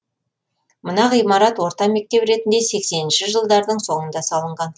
мына ғимарат орта мектеп ретінде сексенші жылдардың соңында салынған